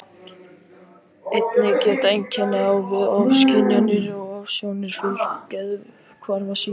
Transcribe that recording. Einnig geta einkenni á við ofskynjanir og ofsjónir fylgt geðhvarfasýki.